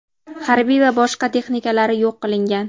harbiy va boshqa texnikalari yo‘q qilingan.